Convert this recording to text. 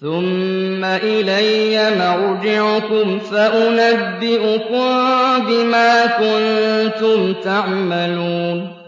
ثُمَّ إِلَيَّ مَرْجِعُكُمْ فَأُنَبِّئُكُم بِمَا كُنتُمْ تَعْمَلُونَ